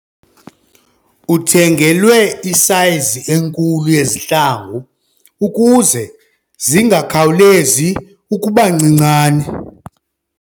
Uthengelwe isayizi enkulu yezihlangu ukuze zingakhawulezi ukuba ncincane.